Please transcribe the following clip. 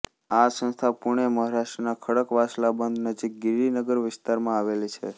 આ સંસ્થા પુણે મહારાષ્ટ્રના ખડકવાસલા બંધ નજીક ગિરિનગર વિસ્તારમાં આવેલી છે